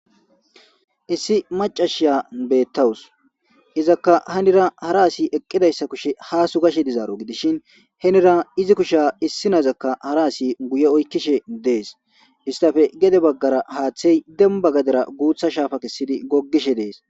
Issi macashiya beettawus izaka hanira hara asi eqqidayssa kushe ha sugashe dizaaro gidishin henira izi kusha issi nayzakka hara asi guye oykkishe dees istafe gede baggara haaththey demba gadera guutha shaafa kessidi goggishe dees